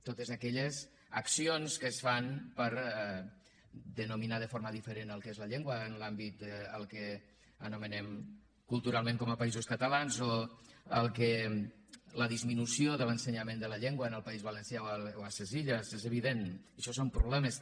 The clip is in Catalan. totes aquelles accions que es fan per denominar de forma diferent el que és la llengua en l’àmbit del que anomenem culturalment com a països catalans o la disminució de l’ensenyament de la llengua en el país valencià o a ses illes és evident això són problemes també